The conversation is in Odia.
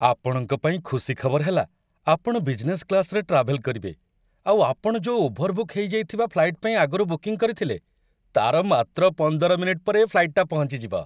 ଆପଣଙ୍କ ପାଇଁ ଖୁସି ଖବର ହେଲା ଆପଣ ବିଜନେସ୍ କ୍ଲାସ୍‌‌ରେ ଟ୍ରାଭେଲ୍‌ କରିବେ ଆଉ ଆପଣ ଯୋଉ ଓଭରବୁକ୍ ହେଇଯାଇଥିବା ଫ୍ଲାଇଟ୍‌‌ ପାଇଁ ଆଗରୁ ବୁକିଂ କରିଥିଲେ, ତା'ର ମାତ୍ର ୧୫ ମିନିଟ୍‌ ପରେ, ଏ ଫ୍ଲାଇଟ୍‌‌ଟା ପହଞ୍ଚିଯିବ ।